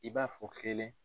I b'a fɔ kelen